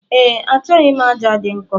Ee, achọghị m aja dị nkọ.